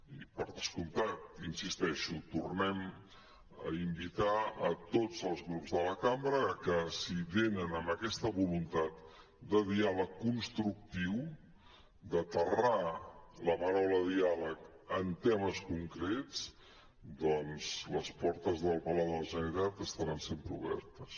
i per descomptat hi insisteixo tornem a invitar tots els grups de la cambra a que si venen amb aquesta voluntat de diàleg constructiu d’aterrar la paraula diàleg en temes concrets doncs les portes del palau de la generalitat estaran sempre obertes